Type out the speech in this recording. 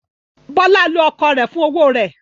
Bọ́lá lo ọkọ rẹ̀ fún owó rẹ̀.